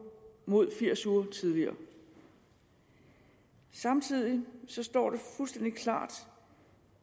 mod firs uger tidligere samtidig står det fuldstændig klart